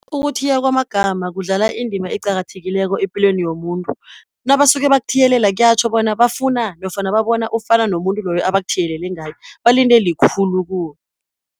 Ukuthiywa kwamagama kudlala indima eqakathekileko epilweni yomuntu, nabasuke bakuthiyelele kuyatjho bona bafuna, nofana babona ufana nomuntu loyo, abakuthiyelele ngaye balinde likhulu kuwe.